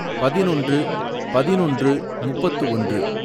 பதினொன்று, பதினொன்று, முப்பத்து ஒன்று